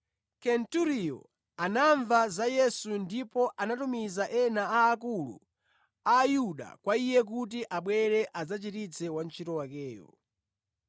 Kenturiyo anamva za Yesu ndipo anatumiza ena a akulu Ayuda kwa Iye kuti abwere adzachiritse wantchito wakeyo.